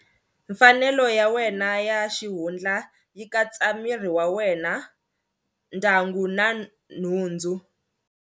Mfanelo ya wena ya xihundla yi katsa miri wa wena, ndyangu na nhundzu.